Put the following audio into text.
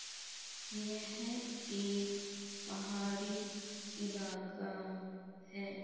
ये हैं एक पहाड़ी इलाका है।